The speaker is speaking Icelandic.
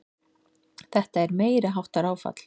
Þetta er meiriháttar áfall!